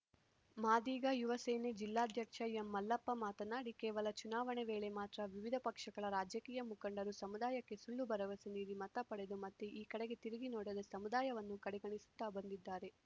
ಮಾದಿಗ ಯುವ ಸೇನೆ ಜಿಲ್ಲಾಧ್ಯಕ್ಷ ಎಂಮಲ್ಲಪ್ಪ ಮಾತನಾಡಿ ಕೇವಲ ಚುನಾವಣೆ ವೇಳೆ ಮಾತ್ರ ವಿವಿಧ ಪಕ್ಷಗಳ ರಾಜಕೀಯ ಮುಖಂಡರು ಸಮುದಾಯಕ್ಕೆ ಸುಳ್ಳು ಭರವಸೆ ನೀಡಿ ಮತ ಪಡೆದು ಮತ್ತೆ ಈ ಕಡೆಗೆ ತಿರುಗಿ ನೋಡದೆ ಸಮುದಾಯವನ್ನು ಕಡೆಗಣಿಸುತ್ತಾ ಬಂದಿದ್ದಾರೆ